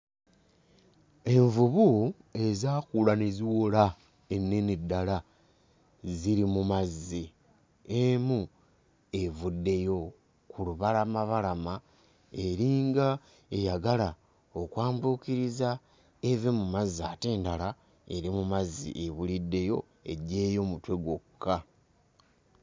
Envubu ezaakula ne ziwola, ennene ddala ziri mu mazzi. Emu evuddeyo ku lubalamabalama, eringa eyagala okwambuukiriza eve mu mazzi ate endala eri mu mazzi ebuliddeyo; eggyeeyo mutwe gwokka.